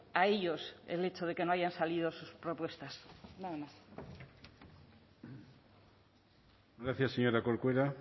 a ellos el hecho de que no hayan salido propuestas gracias señora corcuera